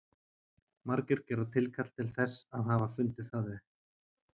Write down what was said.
margir gera tilkall til þess að hafa fundið það upp